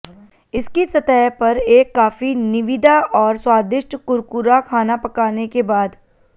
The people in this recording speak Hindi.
इसकी सतह पर एक काफी निविदा और स्वादिष्ट कुरकुरा खाना पकाने के बाद